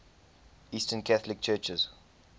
eastern catholic churches